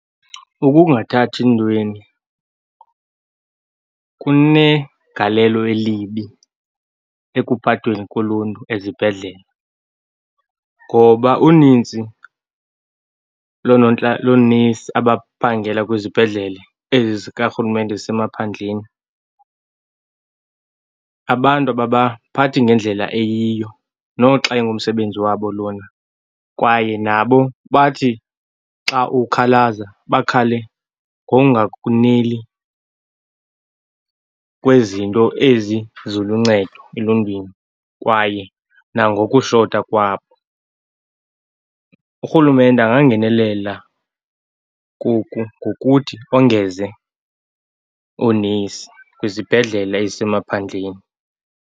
Ukungathathi ntweni kunegalelo elibi ekuphatweni koluntu ezibhedlele ngoba unintsi loonesi abaphangela kwizibhedlele ezi zikarhulumente ezisemaphandleni abantu ababaphathi ngendlela eyiyo, noxa ingumsebenzi wabo lona, kwaye nabo bathi xa ukhalaza, bakhale ngonganeli kwezinto ezi ziluncedo eluntwini. Kwaye nangokushota kwabo. Urhulumente angangenelela koku ngokuthi ongeze oonesi kwizibhedlele ezisemaphandleni.